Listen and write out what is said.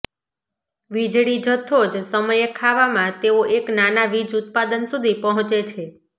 વીજળી જથ્થો જ સમયે ખાવામાં તેઓ એક નાના વીજ ઉત્પાદન સુધી પહોંચે છે